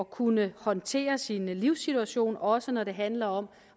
kunne håndtere sin livssituation også når det handler om